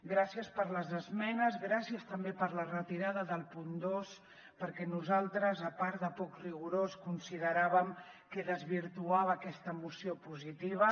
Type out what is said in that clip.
gràcies per les esmenes gràcies també per la retirada del punt dos perquè nosaltres a part de poc rigorós consideràvem que desvirtuava aquesta moció positiva